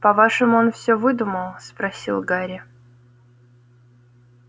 по-вашему он всё выдумал спросил гарри